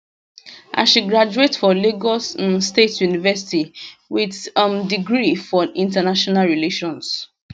and she graduate for lagos um state university wit um degree for international relations